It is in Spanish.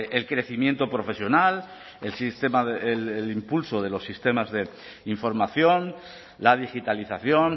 el crecimiento profesional el impulso de los sistemas de información la digitalización